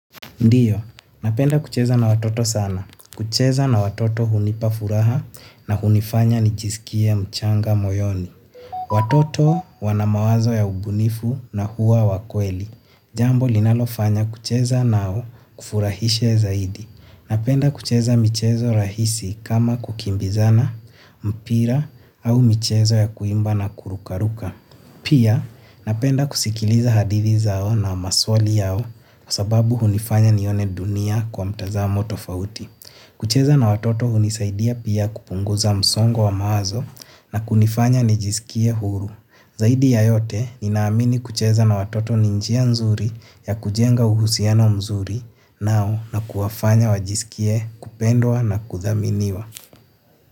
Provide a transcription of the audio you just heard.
Ndiyo, napenda kucheza na watoto sana. Kucheza na watoto hunipa furaha na hunifanya nijisikie mchanga moyoni. Watoto wana mawazo ya ubunifu na huwa wakweli. Jambo linalofanya kucheza nao kufurahishe zaidi. Napenda kucheza michezo rahisi kama kukimbizana, mpira au michezo ya kuimba na kurukaruka. Pia, napenda kusikiliza hadithi zao na maswali yao kwa sababu hunifanya nione dunia kwa mtazamo tofauti. Kucheza na watoto hunisaidia pia kupunguza msongo wa mawazo na kunifanya nijisikie huru. Zaidi ya yote, nina amini kucheza na watoto ni njia nzuri ya kujenga uhusiano mzuri nao na kuwafanya wajisikie kupendwa na kuthaminiwa.